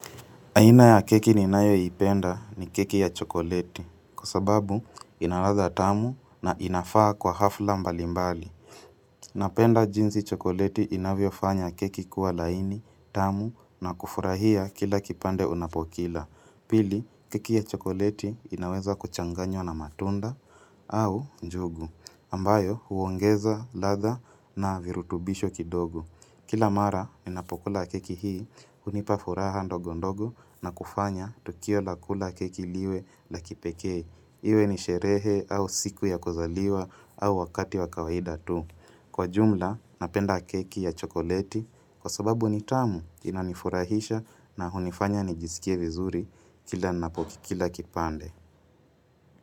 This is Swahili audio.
Aina ya keki ninayoipenda, ni keki ya chokoleti. Kwa sababu ina ladha tamu na inafaa kwa hafla mbalimbali. Napenda jinsi chokoleti inavyofanya keki kuwa laini, tamu na kufurahia kila kipande unapokila. Pili, keki ya chokoleti inaweza kuchanganywa na matunda au njugu ambayo huongeza latha na virutubisho kidogo. Kila mara ninapokula keki hii, unipa furaha ndogo ndogo na kufanya tukio la kula keki liwe la kipekee. Iwe ni sherehe au siku ya kuzaliwa au wakati wa kawaida tu. Kwa jumla, napenda keki ya chokoleti kwa sababu ni tamu inanifurahisha na hunifanya nijisikie vizuri kila napokikila kipande.